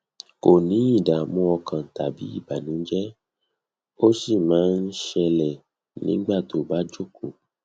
kò ní ìdààmú ọkàn tàbí ìbànújẹ ó sì máa ń máa ń ṣẹlẹ nígbà tó bá jókòó